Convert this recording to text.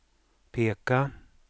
peka